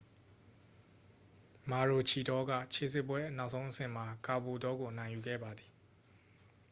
မာရိုချီဒေါက ခြေစစ်ပွဲ နောက်ဆုံးအဆင့်မှာ ကာဘိုလ်တောကို အနိုင်ယူခဲ့ပါတယ်